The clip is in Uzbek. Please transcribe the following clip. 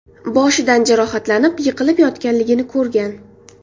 boshidan jarohatlanib, yiqilib yotganligini ko‘rgan.